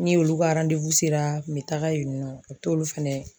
Ni olu ka sera n kun bɛ taaga yen nɔ, u bɛ t'olu fɛnɛ.